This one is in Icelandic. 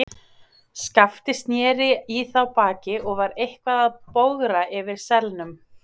Skapti sneri í þá baki og var eitthvað að bogra yfir selnum.